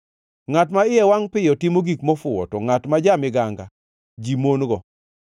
Ngʼat ma iye wangʼ piyo timo gik mofuwo, to ngʼat ma ja-miganga ji mon-go.